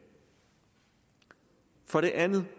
for det andet